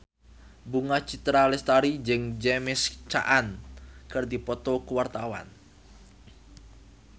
Bunga Citra Lestari jeung James Caan keur dipoto ku wartawan